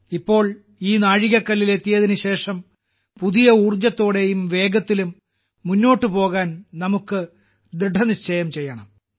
ഇപ്പോൾ ഈ നാഴികക്കല്ലിൽ എത്തിയതിന് ശേഷം പുതിയ ഊർജത്തോടെയും വേഗത്തിലും മുന്നോട്ട് പോകാൻ നമുക്ക് ദൃഢനിശ്ചയം ചെയ്യണം